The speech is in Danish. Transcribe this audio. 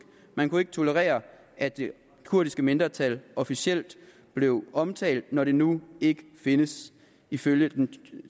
man kunne ikke tolerere at det kurdiske mindretal officielt blev omtalt når det nu ikke findes ifølge den